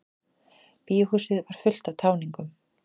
Bíóhúsið var fullt af táningum.